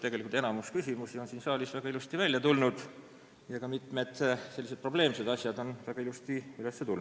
Tegelikult on enamik küsimusi siin saalis väga ilusti välja tulnud ja ka mitmed sellised probleemsed teemad on üles võetud.